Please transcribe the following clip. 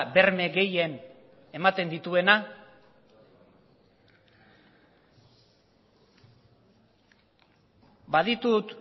berme gehien ematen dituena baditut